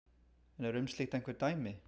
En eru um slíkt einhver dæmi?